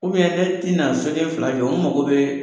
ne ti na soden fila jɔ, n mago bee